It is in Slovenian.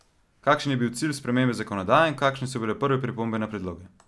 Kakšen je bil cilj spremembe zakonodaje in kakšne so prve pripombe na predloge?